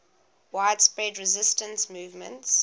widespread resistance movements